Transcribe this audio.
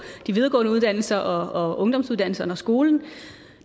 de videregående uddannelser og ungdomsuddannelserne og skolen